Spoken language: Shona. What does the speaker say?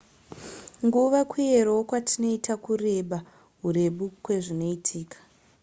nguva kuyerawo kwatinoita kureba hurebu kwezvinoitika